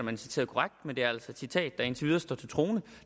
er citeret korrekt men det er altså et citat der indtil videre står til troende